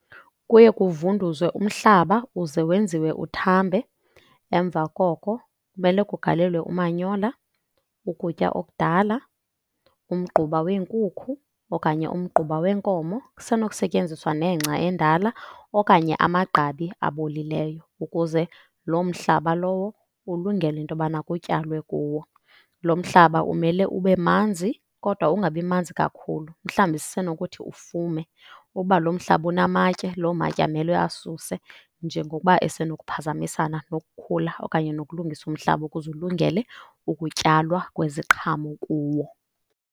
Kuye kuvunduzwe umhlaba uze wenziwe uthambe. Emva koko kumele kugalelwe umanyola, ukutya okudala, umgquba wenkukhu okanye umgquba wenkomo. Kusenokusetyenziswa nengca endala okanye amagqabi abolileyo ukuze loo mhlaba lowo ulungele into yobana kutyalwe kuwo. Lo mhlaba umele ube manzi kodwa ungabi manzi kakhulu, mhlawumbi sisenokuthi ufume. Uba lo mhlaba unamatye, loo matye amelwe asuswe njengokuba esenokuphazamisana nokukhula okanye nokulungisa umhlaba ukuze ulungele ukutyalwa kweziqhamo kuwo.